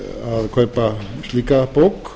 að kaupa slíka bók